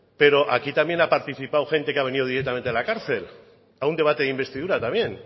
pero aquí también ha participado gente que ha venido directamente de la cárcel a un debate de investidura también